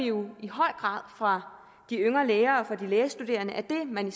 jo i høj grad fra de yngre læger og de lægestuderende at det man